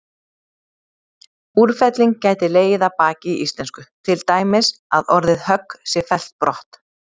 Úrfelling gæti legið að baki í íslensku, til dæmis að orðið högg sé fellt brott.